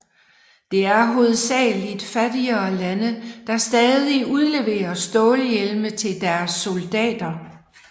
Det er hovedsagelig fattigere lande der stadig udleverer stålhjelme til deres soldater